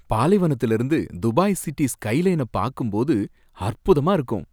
பாலைவனத்துலேர்ந்து Dubai city ஸ்கைலைன பாக்கும்போது அற்புதமா இருக்கும்.